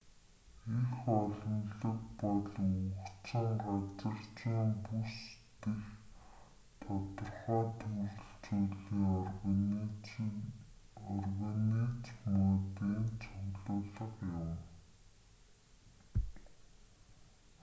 эх олонлог бол өгөгдсөн газар зүйн бүс дэх тодорхой төрөл зүйлийн организмуудын цуглуулга юм